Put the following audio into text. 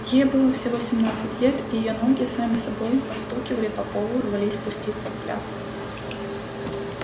ей было всего семнадцать лет и её ноги сами собой постукивали по полу рвались пуститься в пляс